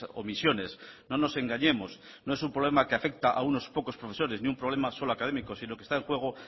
omisiones no nos engañemos no es un problema que afecta a unos pocos profesores ni un problema solo académico sino que está en juego